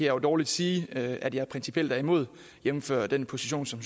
jo dårligt sige at jeg principielt er imod jævnfør den position som